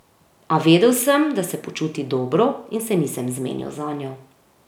A vedel sem, da se počuti dobro, in se nisem zmenil zanjo.